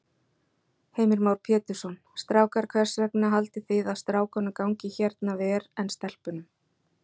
Heimir Már Pétursson: Strákar, hvers vegna haldið þið að strákunum gangi hérna ver en stelpunum?